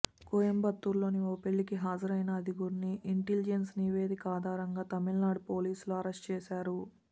కోయంబత్తూరులోని ఓ పెళ్లికి హజరైన ఐదుగురిని ఇంటలిజెన్స్ నివేదిక ఆధారంగా తమిళనాడు పోలీసులు అరెస్ట్ చేశారు